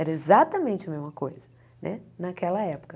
Era exatamente a mesma coisa entendeu naquela época.